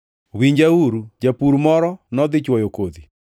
“Winjauru! Japur moro nodhi chwoyo kodhi,